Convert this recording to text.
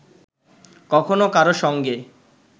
কখনো কারো সঙ্গে